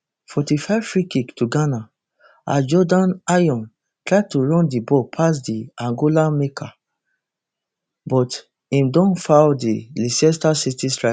forty-fivefreekick to ghana as jordan ayew try to run di ball pass di angola marker but im don foul di leicester city striker